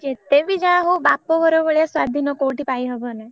ଯେତେ ବି ଯାହାହଉ ବାପଘର ଭଳିଆ ସ୍ବାଧୀନ କୋଉଠି ପାଇ ହବନା।